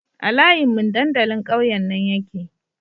A layin mun dandalin ƙauyen nan yake